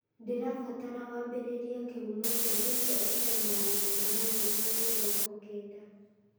ndĩrabatara wambĩrĩrie kĩhumo kĩa rĩndiũ f.m magana manana ma mĩrongo kenda